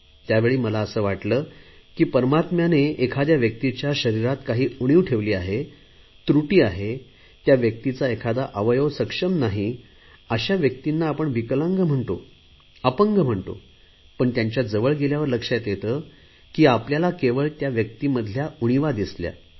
त्यावेळी मला असे वाटले की परमात्म्यानेने एखाद्या व्यक्तीच्या शरीरात काही उणीव ठेवली आहे त्रुटी आहे त्या व्यक्तीचा एखादा अवयव सक्षम नाही अशा व्यक्तींना आपण विकलांग म्हणतो अपंग म्हणतो पण त्यांच्या जवळ गेल्यावर लक्षात येते की आपल्याला केवळ त्या व्यक्तीमधल्या उणीवा दिसल्या